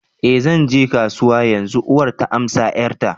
eh zan je kasuwa yanzu, uwar ta amsa 'yarta